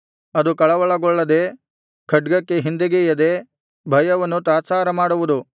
ಅದು ಕಳವಳಗೊಳ್ಳದೆ ಖಡ್ಗಕ್ಕೆ ಹಿಂದೆಗೆಯದೆ ಭಯವನ್ನು ತಾತ್ಸಾರ ಮಾಡುವುದು